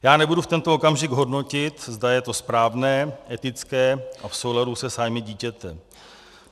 Já nebudu v tento okamžik hodnotit, zda je to správné, etické a v souladu se zájmy dítěte.